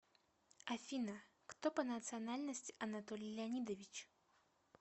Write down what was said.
афина кто по национальности анатолий леонидович